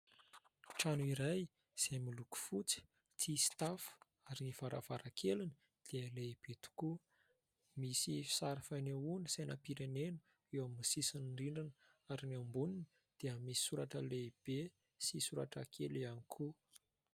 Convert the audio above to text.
Trano iray izay miloko fotsy, tsisy tafo ary ny varavarakeliny dia lehibe tokoa, misy sary fanehoana sainampirenena eo amin'ny sisin'ny rindrina ary ny amboniny dia misy soratra lehibe sy soratra kely ihany koa.